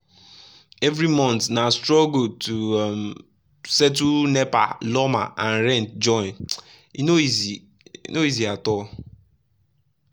every month na struggle to um settle nepa lawma and rent join — e no easy no easy at all.